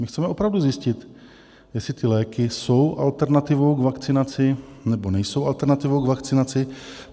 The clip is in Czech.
My chceme opravdu zjistit, jestli ty léky jsou alternativou k vakcinaci, nebo nejsou alternativou k vakcinaci.